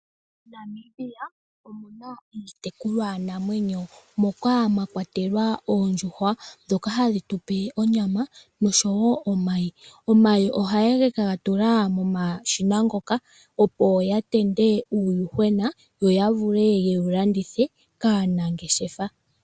MoNamibia omuna iitekulwa namwenyo moka mwakwatelwa oondjuhwa ndhoka hadhitupe onyama oshowo omayi. Omayi ohayeke gatula momashina ngoka opo gavale uuyuhwena yoyavule yewu landithe kaanangeshefa.